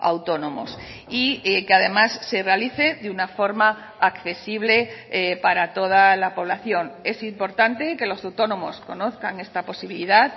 autónomos y que además se realice de una forma accesible para toda la población es importante que los autónomos conozcan esta posibilidad